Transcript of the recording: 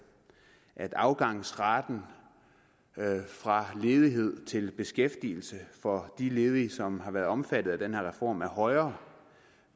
at afgangsraten fra ledighed til beskæftigelse for de ledige som har været omfattet af den her reform er højere